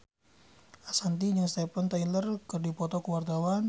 Ashanti jeung Steven Tyler keur dipoto ku wartawan